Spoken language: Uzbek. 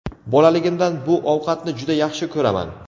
Bolaligimdan bu ovqatni juda yaxshi ko‘raman.